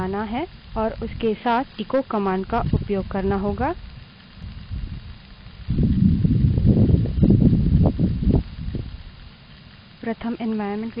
variable वास्तव में क्या संग्रह करता है यह देखने के लिए हमें उस variable के name के आरंभ में dollar चिन्ह लगाना है और उसके साथ echo command का उपयोग करना होगा